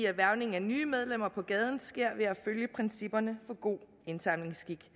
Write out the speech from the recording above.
at hvervning af nye medlemmer på gaden sker ved at følge principperne for god indsamlingsskik